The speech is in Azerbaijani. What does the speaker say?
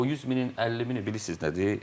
O 100 minin 50 mini bilirsiz nədir?